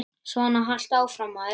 Svona haltu áfram, maður!